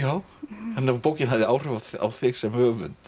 þannig að bókin hafði áhrif á þig sem höfund